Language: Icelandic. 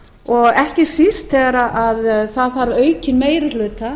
og ekki síst þegar það þarf aukinn meiri hluta